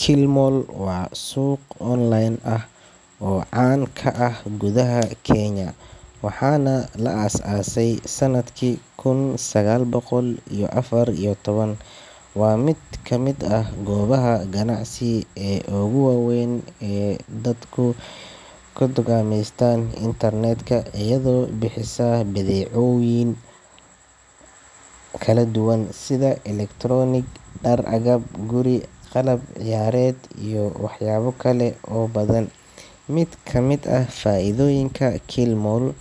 Kilimall waa suuq online ah oo caan ka ah gudaha Kenya, waxaana la aasaasay sanadkii kun sagaal boqol iyo afar iyo toban. Waa mid ka mid ah goobaha ganacsi ee ugu waa weyn ee dadku ka dukaameystaan internet-ka, iyadoo bixisa badeecooyin kala duwan sida elektaroonig, dhar, agab guri, qalab ciyaareed iyo waxyaabo kale oo badan. Mid ka mid ah faa’iidooyinka Kilimall